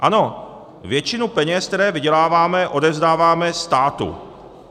Ano, většinu peněz, které vyděláváme, odevzdáváme státu.